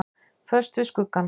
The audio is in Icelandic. Föst við skuggann.